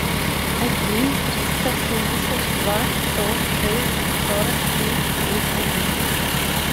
один триста семьдесят два сто шесть сорок три семь один